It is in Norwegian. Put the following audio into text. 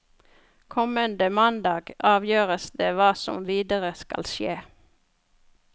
Kommende mandag avgjøres det hva som videre skal skje.